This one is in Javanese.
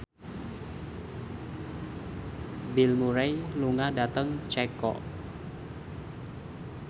Bill Murray lunga dhateng Ceko